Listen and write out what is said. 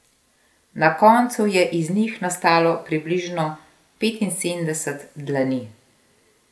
Na koncu je iz njih nastalo približno petinsedemdeset dlani.